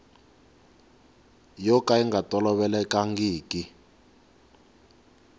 yo ka yi nga tolovelekangiki